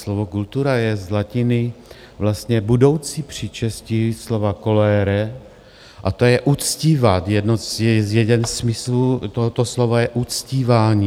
Slovo kultura je z latiny, vlastně budoucí příčestí slova colere, a to je uctívat, jeden ze smyslů tohoto slova je uctívání.